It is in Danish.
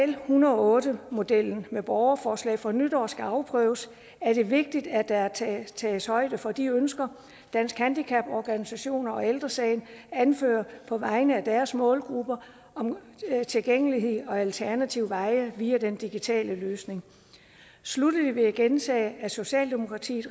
en hundrede og otte modellen med borgerforslag fra nytår skal afprøves er det vigtigt at der tages højde for de ønsker danske handicaporganisationer og ældre sagen anfører på vegne af deres målgrupper om tilgængelighed og alternative veje via den digitale løsning sluttelig vil jeg gentage at socialdemokratiet